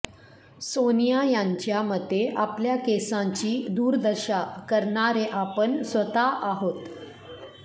सोनिया यांच्या मते आपल्या केसांची दुर्दशा करणारे आपण स्वतः आहोत